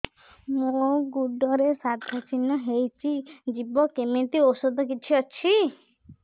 ମୋ ଗୁଡ଼ରେ ସାଧା ଚିହ୍ନ ହେଇଚି ଯିବ କେମିତି ଔଷଧ କିଛି ଅଛି